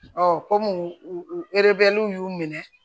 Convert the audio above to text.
kɔmi urobɛliw y'u minɛ